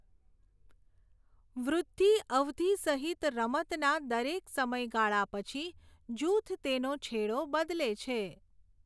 વૃદ્ધિ અવધિ સહિત રમતના દરેક સમયગાળા પછી જૂથ તેનો છેડો બદલે છે.